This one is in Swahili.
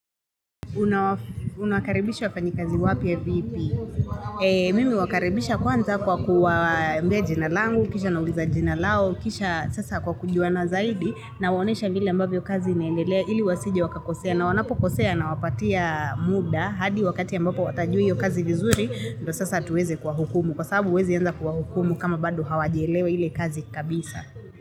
Unakaribishi wafanyi kazi wapi vipi? Mimi huwakaribisha kwanza kwa kuwambia jina langu, kisha nauliza jina lao, kisha sasa kwa kujuana zaidi na waonesha vile ambavyo kazi inaendelea ili wasije wakakosea na wanapo kosea na wapatia muda hadi wakati ambapo watajui yu kazi vizuri na sasa hatuweze kwa hukumu kwa sababu huwezi anza kwa hukumu kama bado hawajelewa hile kazi kabisa.